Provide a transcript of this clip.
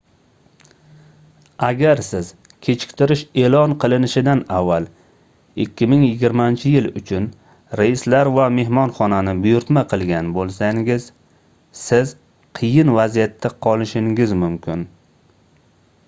agar siz kechiktirish eʼlon qilinishidan avval 2020-yil uchun reyslar va mehmonxonani buyurtna qilgan boʻlsangiz siz qiyin vaziyatda qolishingiz mumkin